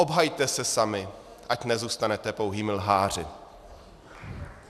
Obhajte se sami, ať nezůstanete pouhými lháři.